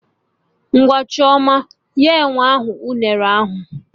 Ngwa Chioma! Nye enwe ahụ unere ahụ!